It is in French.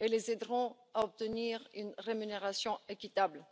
et les aideront à obtenir une rémunération équitable.